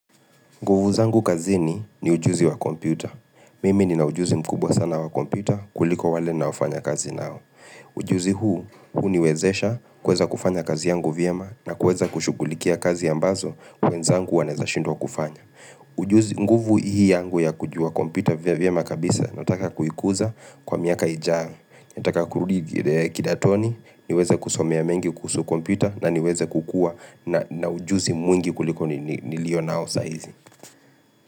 Nguvu zangu kazini ni ujuzi wa kompyuta. Mimi nina ujuzi mkubwa sana wa kompyuta kuliko wale ninaofanya kazi nao. Ujuzi huu huniwezesha kuweza kufanya kazi yangu vyema na kuweza kushughulikia kazi ambazo wenzangu wanaeza shindwa kufanya. Ujuzi nguvu hii yangu ya kujua kompyuta vyema kabisa nataka kuikuza kwa miaka ijayo. Nataka kurudi kidatoni, niweze kusomea mengi kuhusu kompyuta na niweze kukua na ujuzii mwingi kuliko nilio nao sahizi.